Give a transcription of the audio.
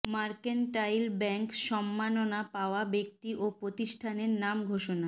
mercantile bank সম্মাননা পাওয়া ব্যক্তি ও প্রতিষ্ঠানের নাম ঘোষণা